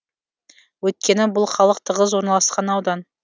өйткені бұл халық тығыз орналасқан аудан